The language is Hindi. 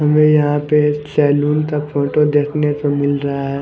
हमें यहाँ पे सैलून का फोटो देखने को मिल रहा है।